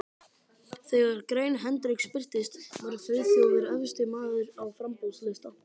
Þegar grein Hendriks birtist, var Friðþjófur efsti maður á framboðslista